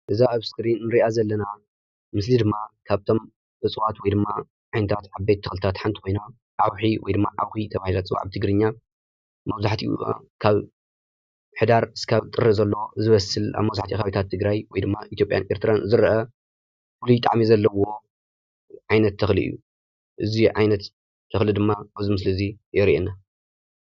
እዛ አብ ስከሪን ነሪአ ዘለና ምስሊ ድማ ካብቶም እፅዋት ወይ ድማ ካብተን ዓይነታት ዓበይቲ ተክልታት ሓንቲ ኮይና ዓውሒ ወይ ከዓ ዓኪ ተባሂላ ትፅዋዕ ብትግርኛ መብዛሕቲኡ ካብ ሕዳር ክሳብ ጥሪ ዘሎ ዝበስል አብ መብዛሕቲኡ ከባበታት ትግራይ ወይ ድማ ኢትጲያን ትግራይ ዝረአ ፉሉይ ጣዕሚ ዘለዎ ዓይነት ተክሊ እዩ፡፡ እዚ ዓይነት ተክሊ ድማ አብዚ ምስሊ እዚ የሪኢና፡፡